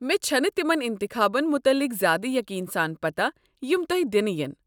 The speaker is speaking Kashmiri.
مےٚ چھنہٕ تمن انتخابن متعلق زیادٕ یقین سان پتہ یم تۄہہ دنہٕ ین۔